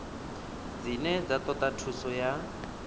dzine dza toda thuso ya